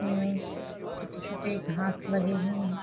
में छोटे-छोटे घास लगे हुए हैं ।